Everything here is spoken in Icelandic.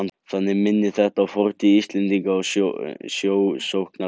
Þannig minnir þetta á fortíð Íslendinga sem sjósóknara.